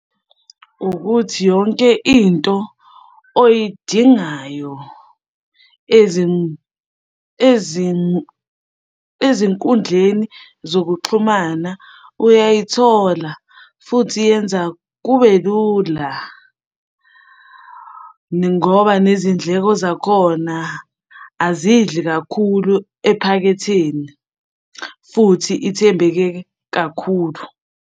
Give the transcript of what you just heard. Ukuthi yonke into oyidingayo ezinkundleni zokuxhumana uyayithola, futhi yenza kube lula, ngoba nezindleko zakhona azidli kakhulu ephaketheni futhi ithembeke kakhulu.